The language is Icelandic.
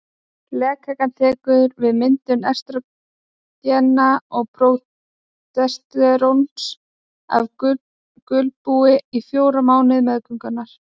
Legkakan tekur við myndun estrógena og prógesteróns af gulbúi á fjórða mánuði meðgöngu.